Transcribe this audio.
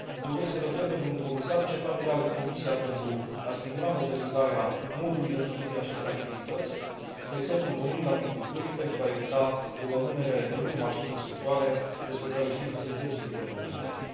Doresc să îl întreb pe domnul comisar ce planuri are Comisia pentru a stimula modernizarea modului de lucru din aceste activități, de exemplu în domeniul agriculturii, pentru a evita o rămânere în urmă a acestor sectoare, despre care știm că sunt deosebit de vulnerabile.